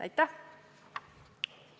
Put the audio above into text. Aitäh!